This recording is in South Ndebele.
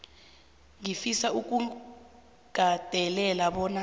ngifisa ukugandelela bona